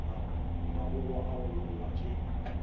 magogwa a go logwa ke